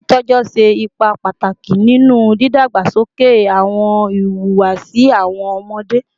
Titọjọ ṣe ipa pataki ninu didagbasoke awọn ihuwasi awọn ọmọde